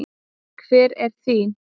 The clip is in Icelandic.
Hver er þín?